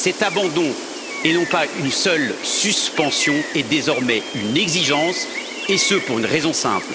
Cet abandon, et non pas la seule suspension, est désormais une exigence et ce pour une raison simple